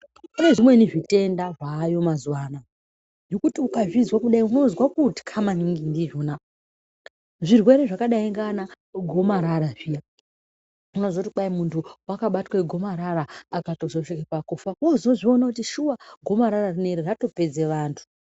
Kune zvimweni zvitenda zvayo mazuwa anaya, zvekuti ukazvizwa kudai unozwa kutya maningi ndizvona. Zvirwere zvakadai ngana gomarara zviya . Unozwa kuti muntu wakabatwa gomarara akatozosvika pakufa wozozviona kuti shuwa gomarara rineri ratopedze vantu.